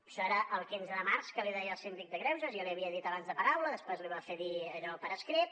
això era el quinze de març que l’hi deia el síndic de greuges ja li havia dit abans de paraula després li va fer dir allò per escrit